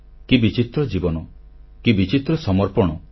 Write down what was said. କି ବିଚିତ୍ର ଜୀବନ କି ବିଚିତ୍ର ସମର୍ପଣ